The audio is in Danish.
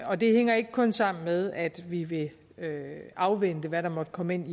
og det hænger ikke kun sammen med at vi vil afvente hvad der måtte komme ind